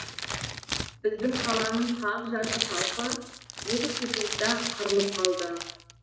біздің қаланың қақ жарты халқы екі секундта қырылып қалды